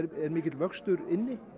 er mikill vöxtur inni